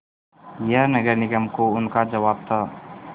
यह नगर निगम को उनका जवाब था